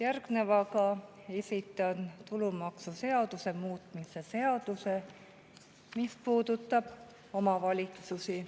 Järgnevaga esitan tulumaksuseaduse muutmise seaduse, mis puudutab omavalitsusi.